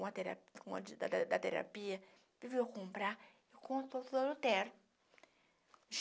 Com a tera com a de da da da terapia, fui eu comprar, encontro o doutor Lutero.